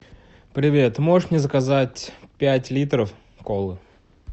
привет можешь мне заказать пять литров колы